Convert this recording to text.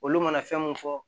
Olu mana fɛn mun fɔ